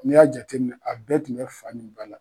N' y'a jateminɛ a bɛɛ tun bɛ fa ni ba la.